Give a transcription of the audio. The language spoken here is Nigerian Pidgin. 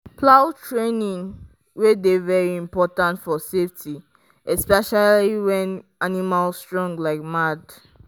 plow training dey very important for safety especially when animal strong like mad.